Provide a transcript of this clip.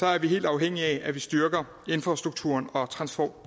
er vi helt afhængige af at vi styrker infrastrukturen og